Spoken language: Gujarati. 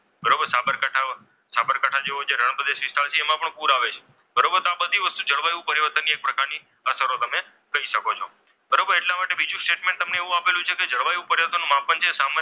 રણ પ્રદેશ વિસ્તાર છે એમાં પણ પૂર આવે છે બરોબર તો આ બધી વસ્તુઓ ઉપર જળવાયું પરિવર્તન ની એક પ્રકારની અસરો તમે જોઈ શકો છો. બરોબર એટલા માટે બીજું સ્ટેટમેન્ટ એવું આપેલું છે કે જળવાયુ પરિવર્તનમાં પણ સામે,